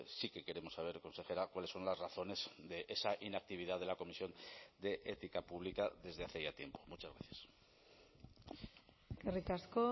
sí que queremos saber consejera cuáles son las razones de esa inactividad de la comisión de ética pública desde hace ya tiempo muchas gracias eskerrik asko